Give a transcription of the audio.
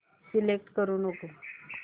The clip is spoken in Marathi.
सिलेक्ट करू नको